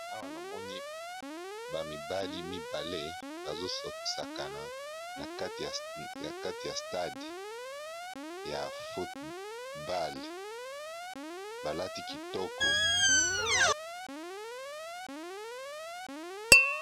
awa na moni bamibali mibale bazososakana n kati ya stade ya fotball balati kitoko